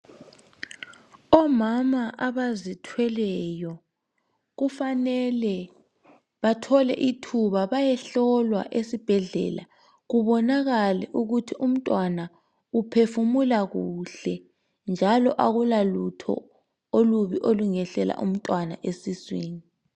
Omama abazithweleyo kufanele bathole ithuba bayohlolwa esibhedlela kubonakale ukuthi umntwana uphefumula kuhle njalo akula lutho olubi olungehlela umntwana esiswini